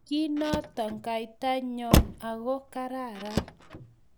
kinto kaitanyo ako kararan